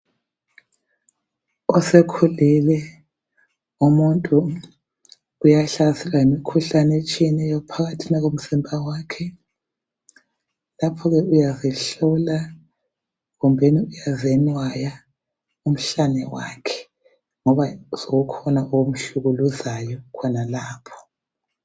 Osekhulile umuntu uyahlaselwa yimikhuhlane etshiyeneyo phakathina komzimba wakhe. Lapha ke uyazihlola kumbeni uyazenwaya umhlane wakhe ngoba sokukhona okhumhlukuluzayo khonalapho.